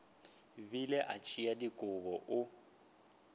bile a tšea dikobo o